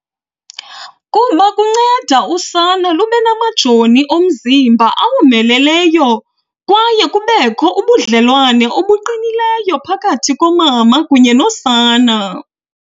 kuba kunceda usana lube namajoni omzimba awomeleleyo, kwaye kubekho ubudlelwane obuqinileyo phakathi komama kunye nosana.